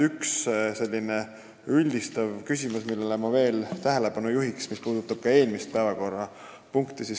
Üks selline üldistav küsimus, millele minagi tähelepanu juhin, puudutab ka eelmist päevakorrapunkti.